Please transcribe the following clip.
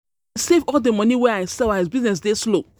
I um go dey save all di moni wey I sell as as business dey um slow.